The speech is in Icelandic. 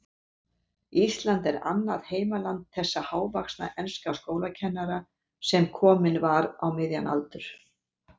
Ísland var annað heimaland þessa hávaxna enska skólakennara, sem kominn var á miðjan aldur.